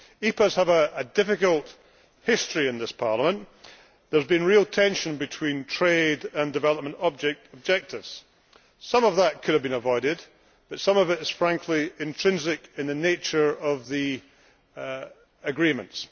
EPAs have a difficult history in this Parliament. There has been real tension between trade and development objectives. Some of that could have been avoided, but some of it is, frankly, intrinsic in the nature of the agreements.